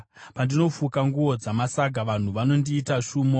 pandinofuka nguo dzamasaga, vanhu vanondiita shumo.